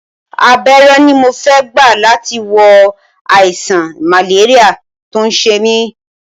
Abẹ́rẹ́ ni mo fẹ́ gbà láti wo àìsàn màléríà tó ń ṣe mí